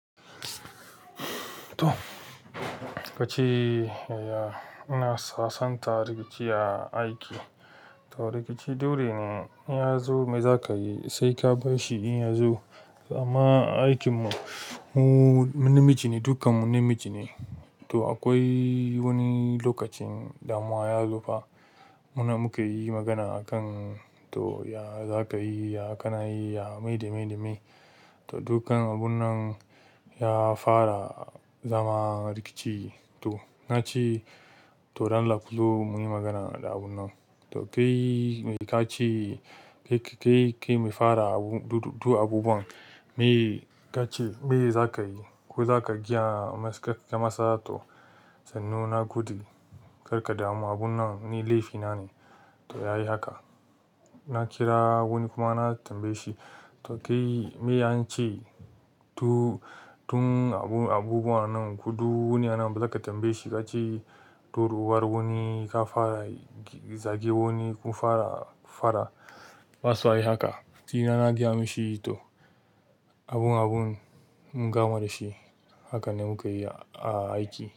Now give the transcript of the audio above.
To, ka ce ya, ina sasanta rikici a aiki. To rikici dole ne ya zo me za ka yi se ka basshi in ya zo. Amma aikinmu mu, mu namiji ne, dukkan mu namiji ne. To akwai wani lokacin damuwa ya zo fa. Muna muka yi magana a kan to ya za ka yi, ya kana yi, ya me da me da me. To dukkan abun nan ya fara zama rikici. To ka ce to don Allah ku zo mu yi magana da abun nan to kai me ka ce, kai, kai, kai me fara abu, du, du abubuwan. Me ka ce me za ka yi ko za ka giya masa, kar ka masa to, sannu na gudu. Kar ka damu abun nan ni laifi na ne. To ya yi haka. Na kira wani kuma na tambaye shi. To kai me an ce to tun abu, abubuwan nan ku du wuni anan ba za ka tambaye shi ka ce, turuwar wani ka fara zage wani kun fara, faɗa. Ba su ha yi haka. Ni na na gaya mashi to abun abun mun gama da shi. Haka ne muka yi a aiki.